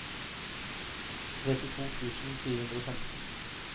trettito tusen fire hundre og femten